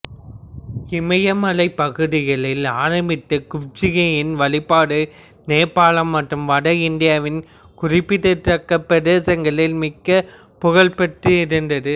இமயமலைப் பகுதிகளில் ஆரம்பித்த குப்ஜிகையின் வழிபாடு நேபாளம் மற்றும் வட இந்தியாவின் குறிப்பிடத்தக்க பிரதேசங்களில் மிக்க ப்புகழ்பெற்றிருந்தது